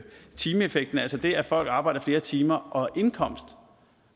timeeffekten altså det at folk arbejder flere timer og indkomsten